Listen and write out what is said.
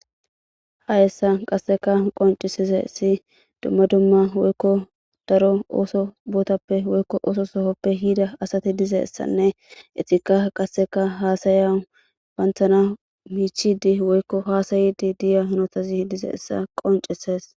ha hessa qasseka qoncisize si dumma dumma woykko daro ooso bootappe woykko ooso sohoppe hida asati dize ssanne etika qasseka haasayau banthana miichidi woykko haasayidi diya honotazi dize essa qoncisees